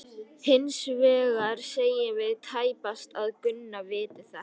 Hins vegar segjum við tæpast að Gunna viti þetta.